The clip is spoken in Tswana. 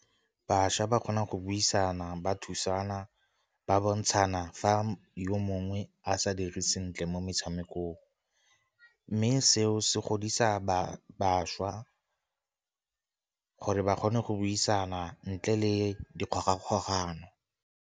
Bašwa ba kgona go buisana, ba thusana, ba bontshana fa yo mongwe a sa dire sentle mo metshamekong. Mme seo se godisa bašwa gore ba kgone go buisana, ntle le dikgogakgogano.